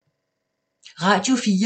Radio 4